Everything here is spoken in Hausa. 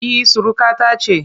E, surukata ce